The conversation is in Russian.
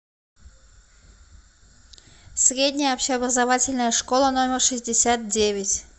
средняя общеобразовательная школа номер шестьдесят девять